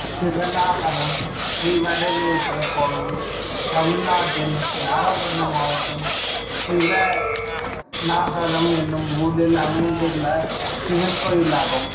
சிவனாகரம் ஸ்ரீவாரணேஸ்வரர் கோயில் தமிழ்நாட்டில் நாகபட்டினம் மாவட்டம் சிவனாகரம் என்னும் ஊரில் அமைந்துள்ள சிவன் கோயிலாகும்